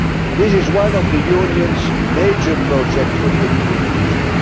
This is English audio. This is one of the Union's major projects for the immediate future.